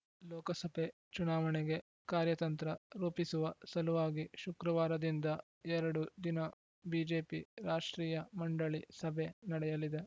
ಲೋಕಸಭೆ ಚುನಾವಣೆಗೆ ಕಾರ್ಯತಂತ್ರ ರೂಪಿಸುವ ಸಲುವಾಗಿ ಶುಕ್ರವಾರದಿಂದ ಎರಡು ದಿನ ಬಿಜೆಪಿ ರಾಷ್ಟ್ರೀಯ ಮಂಡಳಿ ಸಭೆ ನಡೆಯಲಿದೆ